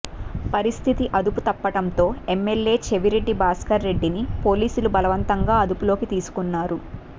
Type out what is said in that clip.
పరిస్థితి అదుపు తప్పడంతో ఎమ్మెల్యే చెవిరెడ్డి భాస్కర్రెడ్డిని పోలీసులు బలవంతంగా అదుపులోకి తీసుకున్నారు